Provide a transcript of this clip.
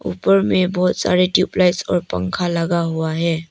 उपर मे बहुत सारे ट्यूबलाइट और पंखा लगा हुआ है।